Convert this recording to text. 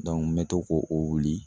Dɔnku n be to k'o o wuli